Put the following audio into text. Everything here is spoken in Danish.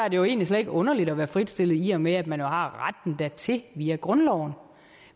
jo egentlig slet ikke underligt at være fritstillet i og med at man har retten dertil via grundloven